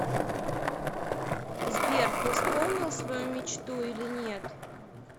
сбер ты исполнил свою мечту или нет